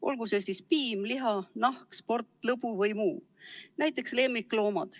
Olgu see eesmärk siis piim, liha, nahk, sport, lõbu või muu, näiteks omada lemmiklooma.